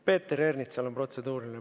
Peeter Ernitsal on protseduuriline.